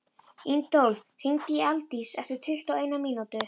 Adólf, hringdu í Aldísi eftir tuttugu og eina mínútur.